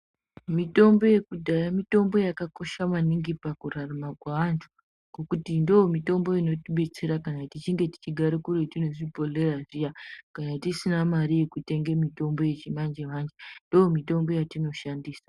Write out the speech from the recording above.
Mitombo yekudhaya mitombo yakakosha maningi pakurarama kweantu. Ngokuti ndoomitombo inotibetsera kana tichinge tichigara kuretu nezvibhodhleya zviya kana tisina mare yekutenge mitombo yecimanje-manje, ndoomitombo yatinoshandisa.